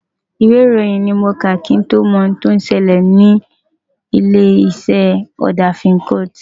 Ìwé ìròyìn ni mo kà, kí n tó mọ ohun tí ó ṣẹlẹ̀ sí ilé-iṣẹ́ ọ̀dà Fincoat.